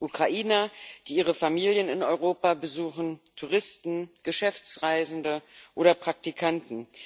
Ukrainer, die ihre Familien in Europa besuchen, Touristen, Geschäftsreisende oder Praktikanten.